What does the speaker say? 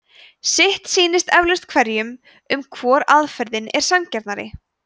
sitt sýnist eflaust hverjum um hvor aðferðin er sanngjarnari